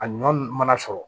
A ɲɔ mana sɔrɔ